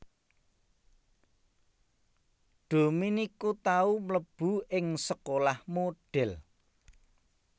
Dominuque tau mlebu ing sekolah modhèl